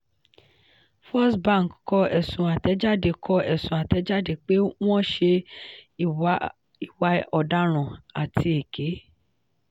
firstbank kọ ẹ̀sùn àtẹ̀jáde kọ ẹ̀sùn àtẹ̀jáde pé wọ́n ṣe ìwà ọ̀daràn àti èké.